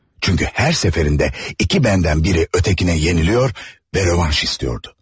Çünkü her seferinde iki bəndən biri ötekini yeniliyor ve revanş istiyordu.